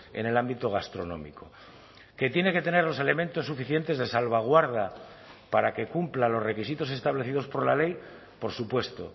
en el ámbito gastronómico que tiene que tener los elementos suficientes de salvaguarda para que cumpla los requisitos establecidos por la ley por supuesto